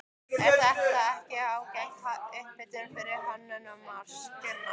Er þetta ekki ágæt upphitun fyrir Hönnunarmars, Gunnar?